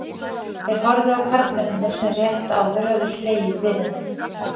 Þeir horfðu á karlmennirnir sem rétt áður höfðu hlegið við henni.